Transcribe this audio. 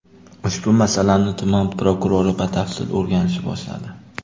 Ushbu masalani tuman prokurori batafsil o‘rganishni boshladi.